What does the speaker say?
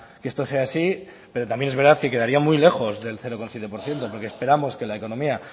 que esto sea así pero también es verdad que muy lejos del cero coma siete por ciento porque esperamos que la economía